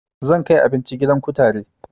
Zan kai abinci gidan kutare